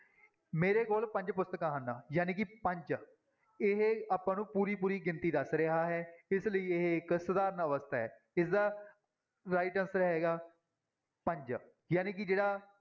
ਮੇਰੇ ਕੋਲ ਪੰਜ ਪੁਸਤਕਾਂ ਹਨ, ਜਾਣੀ ਕਿ ਪੰਜ ਇਹ ਆਪਾਂ ਨੂੰ ਪੂਰੀ ਪੂਰੀ ਗਿਣਤੀ ਦੱਸ ਰਿਹਾ ਹੈ, ਇਸ ਲਈ ਇਹ ਇੱਕ ਸਧਾਰਨ ਅਵਸਥਾ ਹੈ, ਇਸਦਾ right answer ਹੈਗਾ ਪੰਜ ਜਾਣੀ ਕਿ ਜਿਹੜਾ